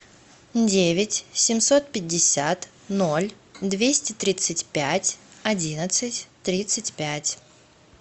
девять семьсот пятьдесят ноль двести тридцать пять одиннадцать тридцать пять